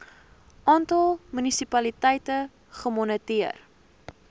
aantal munisipaliteite gemoniteer